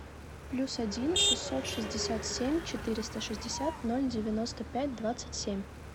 плюс один шестьсот шестьдесят семь четыреста шестьдесят ноль девяносто пять двадцать семь